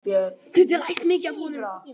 Þú getur lært mikið af honum.